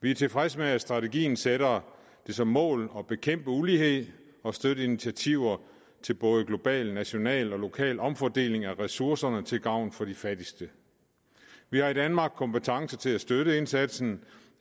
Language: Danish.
vi er tilfredse med at strategien sætter det som mål at bekæmpe ulighed og støtte initiativer til både global national og lokal omfordeling af ressourcerne til gavn for de fattigste vi har i danmark kompetence til at støtte indsatsen